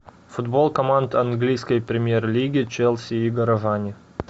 футбол команд английской премьер лиги челси и горожане